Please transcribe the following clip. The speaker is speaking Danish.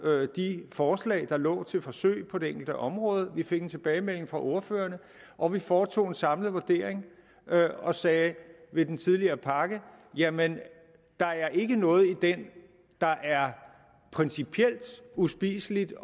de forslag der lå til forsøg på det enkelte område vi fik en tilbagemelding fra ordførerne og vi foretog en samlet vurdering og sagde ved den tidligere pakke jamen der er ikke noget i den der er principielt uspiseligt